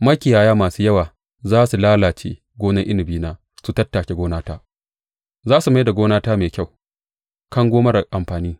Makiyaya masu yawa za su lalace gonar inabina su tattake gonata; za su mai da gonata mai kyau kango marar amfani.